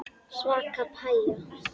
Svaka pæja.